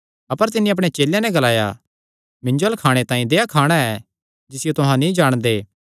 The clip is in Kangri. अपर तिन्नी अपणे चेलेयां नैं ग्लाया मिन्जो अल्ल खाणे तांई देहया खाणा ऐ जिसियो तुहां नीं जाणदे